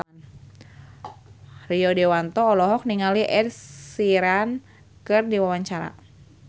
Rio Dewanto olohok ningali Ed Sheeran keur diwawancara